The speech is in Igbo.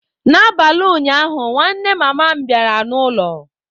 N'abalị ụnyaahụ, nwanne mama m bịara n'ụlọ.